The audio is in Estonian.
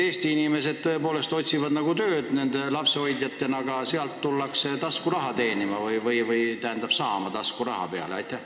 Eesti inimesed otsivad tõepoolest tööd lapsehoidjatena, aga mujalt tullakse siia taskuraha teenima, n-ö taskuraha peale saama.